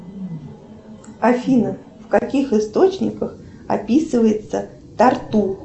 афина в каких источниках описывается тарту